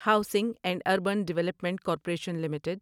housing and urban development corporation limited